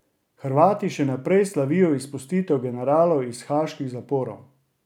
Hrvati še naprej slavijo izpustitev generalov iz haaških zaporov.